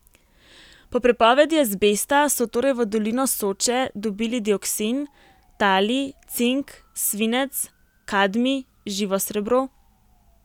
Po prepovedi azbesta so torej v dolino Soče dobili dioksin, talij, cink, svinec, kadmij, živo srebro ...